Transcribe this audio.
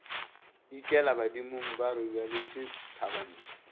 ikela badimong ba robaletše thabantsho